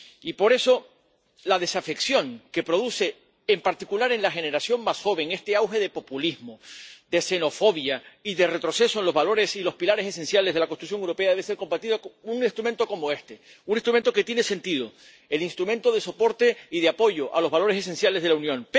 Y, por eso, la desafección que produce en particular en la generación más joven este auge de populismo, de xenofobia y de retroceso en los valores y los pilares esenciales de la construcción europea debe ser combatida con un instrumento como este, un instrumento que tiene sentido el instrumento de soporte y de apoyo a los valores esenciales de la Unión.